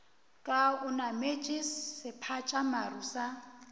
ka o nametše sephatšamaru sa